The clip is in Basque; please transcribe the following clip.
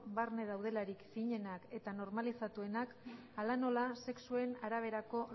barne daudelarik finenak eta normalizatuenak hala nola sexuen araberako